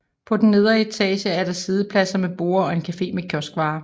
På den nedre etage er der siddepladser med borde og en cafe med kioskvarer